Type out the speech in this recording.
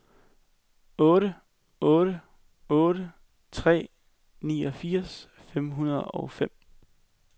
otte otte otte tre niogfirs fem hundrede og fem